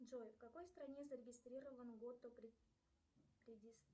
джой в какой стране зарегистрирован